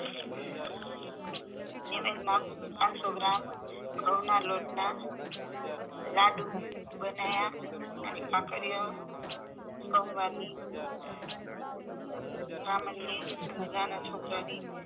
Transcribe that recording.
નિવેદ માં આઠસો ગ્રામ ઘઉંના લોટના લાડું બનાયા અને ભાખરિયો સોમવારની બ્રાહ્મણ ને અને નાના છોકરા ની